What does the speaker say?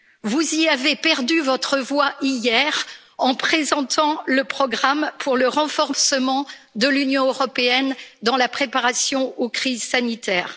Vous y avez perdu votre voix hier, en présentant le programme pour le renforcement de l'Union européenne dans la préparation aux crises sanitaires.